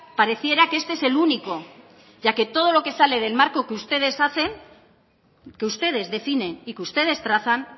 pareciera que este es el único ya que todo lo que sale del marco que ustedes hacen que ustedes definen y que ustedes trazan